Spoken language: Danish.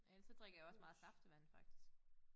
Ellers så drikker jeg også meget saftevand faktisk